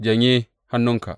Janye hannunka.